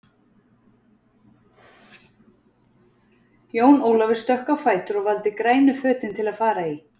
Jón Ólafur stökk á fætur og valdi grænu fötin til að fara í.